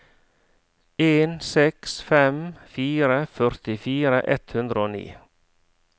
en seks fem fire førtifire ett hundre og ni